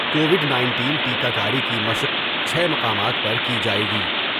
Covid nineteen انیس ٹیکہ کاری کی مشق چھ مقامات پر کی جاۓ گی ۔